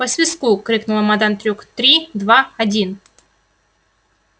по свистку крикнула мадам трюк три два один